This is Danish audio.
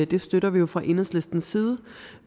det støtter vi jo fra enhedslistens side